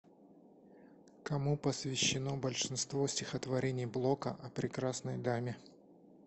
кому посвящено большинство стихотворений блока о прекрасной даме